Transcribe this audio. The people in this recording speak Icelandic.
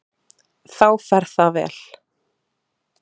Þá fer það vel.